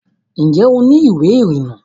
ǹjẹ́ o ní ìwé ìrìnnà?